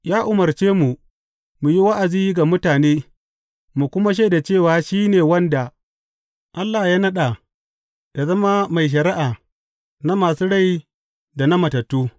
Ya umarce mu mu yi wa’azi ga mutane mu kuma shaida cewa shi ne wanda Allah ya naɗa yă zama mai shari’a na masu rai da na matattu.